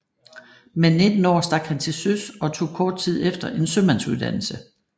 Med 19 år stak han til søs og tog kort tid efter en sømandsuddannelse